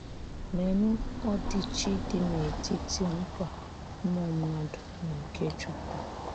Léenụ́ ọ̀dị́chị̀ dị n’etíti nkwa ụmụ mmádụ̀ na nke Chúkwú!